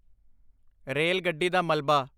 rail ਗੱਡੀ ਦਾ ਮਲਬਾ